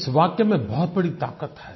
इस वाक्य में बहुत बड़ी ताक़त है